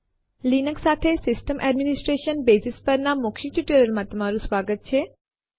Linux સાથે system administration basics પરના મૌખિક ટયુટોરિઅલમાં તમારું સ્વાગત છે